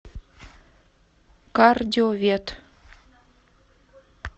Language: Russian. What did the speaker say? кардиовет